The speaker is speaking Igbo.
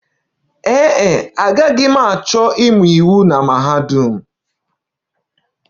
Ee e, agaghị m achọ ịmụ iwu na mahadum